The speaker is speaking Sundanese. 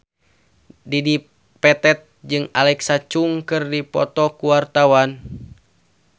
Dedi Petet jeung Alexa Chung keur dipoto ku wartawan